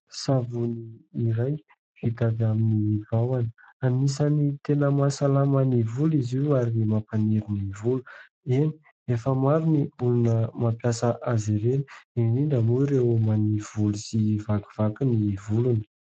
Savony iray hita vita amin'ny vahona anisany tena mahasalama ny volo izy io ary mampaniry ny volo. Eny efa maro ny olona mampiasa azy ireny indrindra moa ireo manivolo sy vakivaky ny volony.